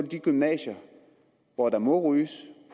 de gymnasier hvor der må ryges